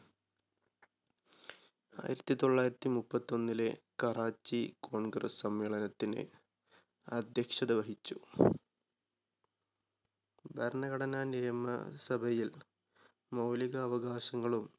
ആയിരത്തി തൊള്ളായിരത്തി മുപ്പത്തൊന്നിലെ കറാച്ചി congress സമ്മേളനത്തിന് അധ്യക്ഷത വഹിച്ചു. ഭരണഘടന നിയമസഭയിൽ മൗലിക അവകാശങ്ങളും